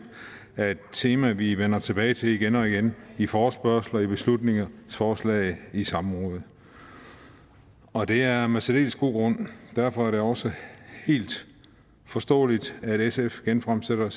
er et tema vi vender tilbage til igen og igen i forespørgsler i beslutningsforslag og i samråd og det er med særdeles god grund derfor er det også helt forståeligt at sf genfremsætter